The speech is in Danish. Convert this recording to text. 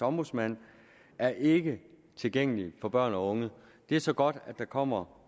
ombudsmand er ikke tilgængelige for børn og unge det er så godt at der kommer